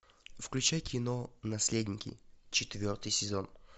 включай кино наследники четвертый сезон